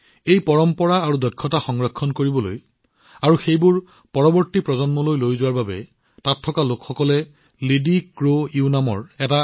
এই পৰম্পৰা আৰু দক্ষতাবোৰ সংৰক্ষণ কৰিবলৈ আৰু সেইবোৰ পৰৱৰ্তী প্ৰজন্মলৈ আগুৱাই নিবলৈ তাত থকা লোকসকলে এটা সংগঠন গঠন কৰিছে সেইটো হৈছে লিডিক্ৰোইউ